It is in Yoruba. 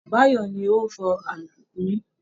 Báyọ̀ ni ó ń fọ alùpùpù yín